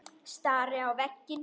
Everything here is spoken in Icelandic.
Stari á veginn.